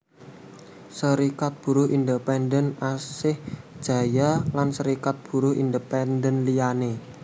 Serikat Buruh Independen Asih Jaya lan Serikat Buruh Independen liyané